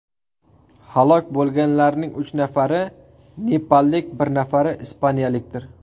Halok bo‘lganlarning uch nafari nepallik, bir nafari ispaniyalikdir.